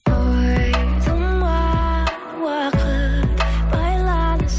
ой тұман уақыт байланыс